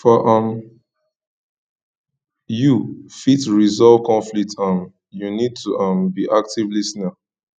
for um you to fit resolve conflict um you need to um be active lis ten er